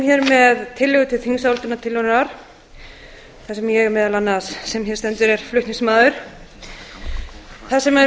hér með tillögu til þingsályktunar þar ég sem hér stend er meðal annars flutningsmaður að þar sem